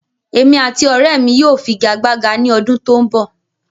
Èmi àti ọrẹ́ mi yóò figagbága ní ọdún tó ń bọ̀